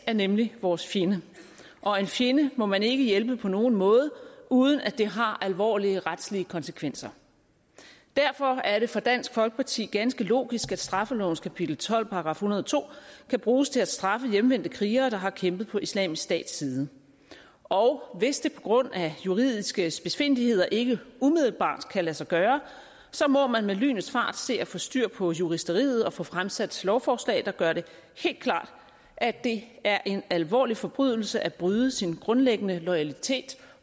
er nemlig vores fjende og en fjende må man ikke hjælpe på nogen måde uden at det har alvorlige retslige konsekvenser derfor er det for dansk folkeparti ganske logisk at straffelovens kapitel tolv § en hundrede og to kan bruges til at straffe hjemvendte krigere der har kæmpet på islamisk stats side og hvis det på grund af juridiske spidsfindigheder ikke umiddelbart kan lade sig gøre må man med lynets fart se at få styr på juristeriet og få fremsat lovforslag der gør det helt klart at det er en alvorlig forbrydelse at bryde sin grundlæggende loyalitet